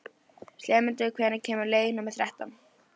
slefmundur, hvenær kemur leið númer þrettán?